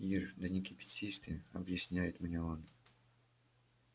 ир да не кипятись ты объясняет мне он